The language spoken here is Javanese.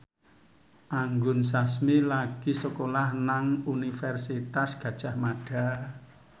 Anggun Sasmi lagi sekolah nang Universitas Gadjah Mada